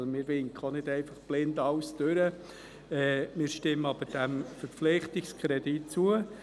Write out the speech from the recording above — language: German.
Wir winken denn auch nicht alles blind durch, stimmen aber dem Verpflichtungskredit zu.